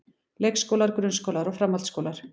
Leikskólar, grunnskólar og framhaldsskólar.